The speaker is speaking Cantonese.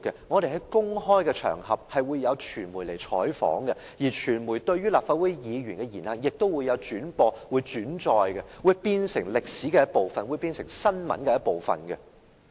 我們出席公開場合時會有傳媒採訪，傳媒亦會轉播和轉載立法會議員的言行，這會變成歷史的一部分和新聞的一部分。